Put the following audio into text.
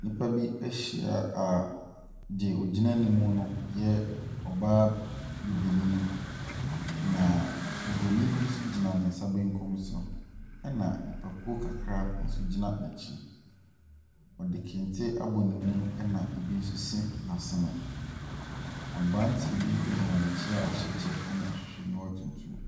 Nnipa bi ahyia a deɛ ɔgyina anim no yɛ ɔbaa Bibini, na Bronin bi nso gyina ne nsa benkun so, ɛna nipakuo kakra nso gyina n'akyi. Ɔde kente apɔ ne mu, ɛna ɛbi nso si n'asene. Aberanteɛ bi gyina n'akyi a wahyɛ kyɛ ne ahwehwɛniwa tuntum.